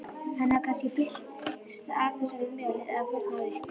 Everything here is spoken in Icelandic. Hafði hann kannski fyllst af þessari möl eða þornað upp?